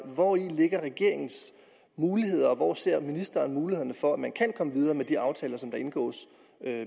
hvor ligger regeringens muligheder og hvor ser ministeren mulighederne for at man kan komme videre med de aftaler som der indgås